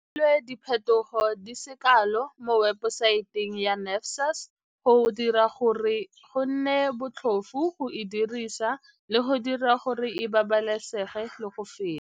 Go dirilwe diphetogo di se kalo mo webosaete ya NSFAS go dira gore go nne botlhofo go e dirisa le go dira gore e babalesege le go feta.